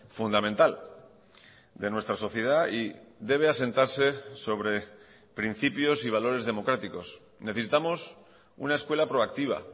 fundamental de nuestra sociedad y debe asentarse sobre principios y valores democráticos necesitamos una escuela proactiva